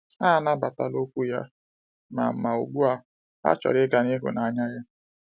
Ha anabatala okwu ya, ma ma ugbu a ha chọrọ ịga n’ihu na ya.